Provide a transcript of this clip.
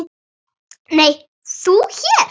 Nei, þú hér?